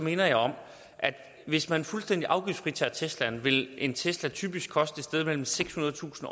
minder jeg om at hvis man fuldstændig afgiftsfritager tesla vil en tesla typisk koste et sted mellem sekshundredetusind